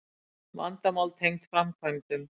Vandamál tengd framkvæmdum